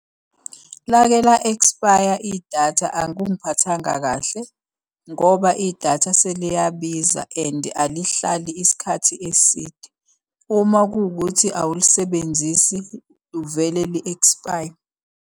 Lake la-expire idatha akungiphathanga kahle, ngoba idatha seliyabiza and ilihlali isikhathi eside. Uma kuwukuthi awulisebenzisi, livele li-ekspaye.